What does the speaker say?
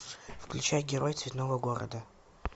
включай герой цветного города